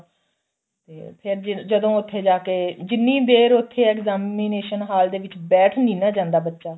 ਤੇ ਫੇਰ ਜਦ ਜਦੋਂ ਉੱਥੇ ਜਾ ਕੇ ਜਿੰਨੀ ਦੇਰ ਉੱਥੇ examination ਹਾਲ ਦੇ ਵਿੱਚ ਬੈਠ ਨਹੀਂ ਨਾ ਜਾਂਦਾ ਬੱਚਾ